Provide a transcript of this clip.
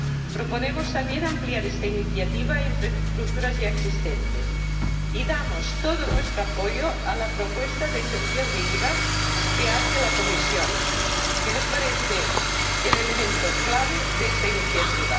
Proponemos también ampliar esta iniciativa a infraestructuras ya existentes y damos todo nuestro apoyo a la propuesta de exención de IVA que hace la Comisión, que nos parece el elemento clave de esta iniciativa.